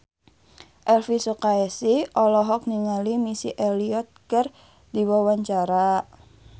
Elvi Sukaesih olohok ningali Missy Elliott keur diwawancara